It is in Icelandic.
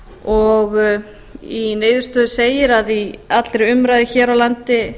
og í niðurstöðu segir að í allri umræðu hér á landi